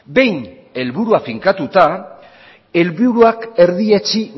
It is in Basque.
behin helburua finkatuta helburuak erdietsi